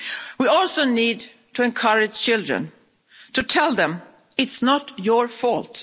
We also need to encourage children, to tell them, it's not your fault'.